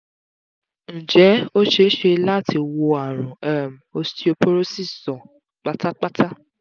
ǹjẹ́ ó ṣeé ṣe láti wo àrùn um osteoporosis sàn pátápátá?